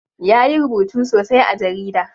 Ya yi rubutu sosai a jarida.